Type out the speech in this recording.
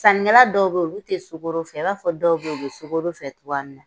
Saninkɛla dɔw bɛ ye ulu tɛ sukoro fɛ i b'a fɔ dɔw bɛ ye ulu bɛ sokoro fɛ cogoya min na.